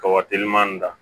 Ka wateliman da